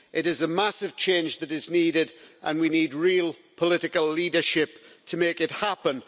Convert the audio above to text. It is a massive change that is needed, and we need real political leadership to make it happen.